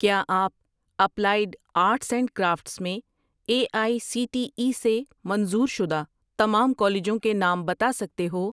کیا آپ applied arts and crafts میں A I C T E سے منظور شدہ تمام کالجوں کے نام بتا سکتے ہو